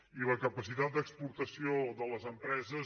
i la capacitat d’exportació de les empreses